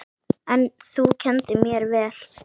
En þú kenndir mér vel.